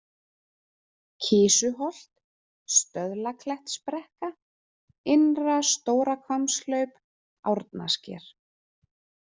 Kisuholt, Stöðlaklettsbrekka, Innra-Stórahvammshlaup, Árnasker